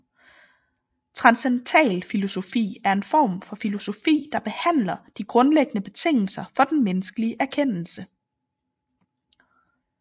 Transcendentalfilosofi er en form for filosofi der behandler de grundlæggende betingelser for den menneskelige erkendelse